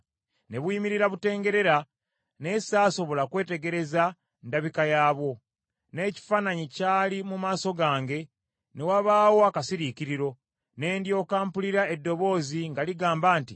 Ne buyimirira butengerera, naye saasobola kwetegereza ndabika yaabwo, n’ekifaananyi kyali mu maaso gange, ne wabaawo akasiriikiriro, ne ndyoka mpulira eddoboozi nga ligamba nti,